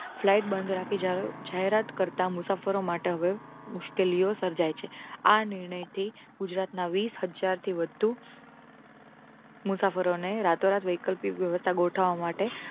flight બંધ જાહેરાત કરતા મુસાફરો માટે હવે મુશ્કેલીઓ સર્જાય છે. આ નિર્ણય થી ગુજરાત ના વીસ હ્જાર થી વધુ મુસાફરો ને રાતો રાત વૈકલ્પિક વ્યવસ્થા ગોઠવવા માટે